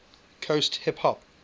coast hip hop